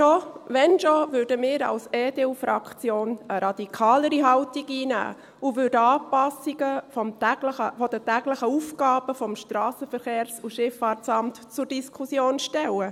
Wenn schon, würden wir als EDU-Fraktion eine radikalere Haltung einnehmen und Anpassungen der täglichen Aufgaben des SVSA zur Diskussion stellen.